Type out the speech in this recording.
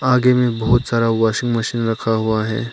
आगे में बहुत सारा वाशिंग मशीन रखा हुआ है।